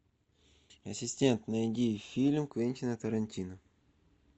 ассистент найди фильм квентина тарантино